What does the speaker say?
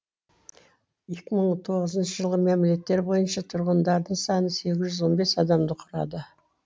екі мың тоғызыншы жылғы мәмілеттер бойынша тұрғындардың саны сегіз жүз он бес адамды құрады